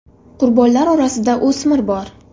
Qurbonlar orasida o‘smir bor.